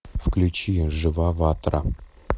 включи жива ватра